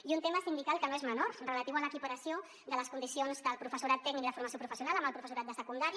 i un tema sindical que no és menor relatiu a l’equiparació de les condicions del professorat tècnic i de formació professional amb el professorat de secundària